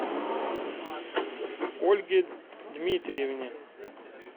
ольге дмитриевне